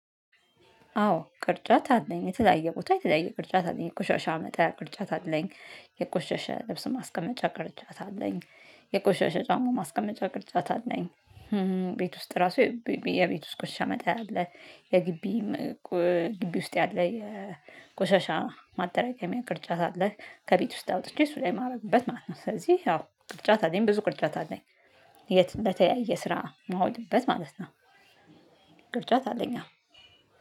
አዎ ቅርጫት አለኝ የተለያየ ቦታ የተለያየ ቅርጫት አለኝ የቆሻሻ መጣያ ቅርጫት አለኝ የቆሸሸ ልብስ ማስቀመጫ ቅርጫት አለኝ የቆሸሸ ጫማ ማስቀመጫ ቅርጫት አለኝ። ቤት ውስጥ ራሱ የቤት ውስጥ ቆሻሻ መጣያ አለ። የግቢ ግቢ ውስጥ ያለ የቆሻሻ ማጠራቀሚያ ቅርጫት አለህ ከቤት ውስጥ አውጥቼ እሱ ላይ ማድረግበት ማለት ነው። ስለዚህ አዎ ቅርጫት አለኝ ብዙ ቅርጫት አለኝ። የት? በተያየ ስራ መሆንበት ማለት ነው። ቁርጫት አለኝ